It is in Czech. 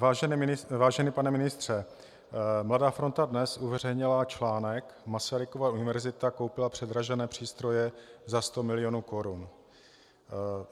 Vážený pane ministře, Mladá fronta Dnes uveřejnila článek Masarykova univerzita koupila předražené přístroje za 100 milionů korun.